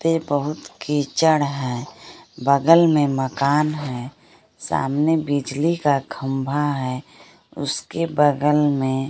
पे बहुत कीचड़ है बगल में मकान है सामने बिजली का खंभा है उसके बगल में--